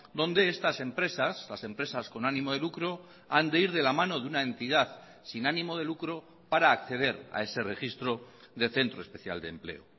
donde estas empresas las empresas con ánimo de lucro han de ir de la mano de una entidad sin ánimo de lucro para acceder a ese registro de centro especial de empleo